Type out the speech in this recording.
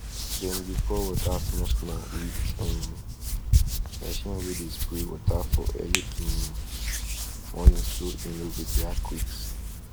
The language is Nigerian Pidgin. dem dey pour water small small with um machine wey dey spray water for early um morning so e no go dry quick